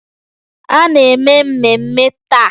A na-eme mmemme taa?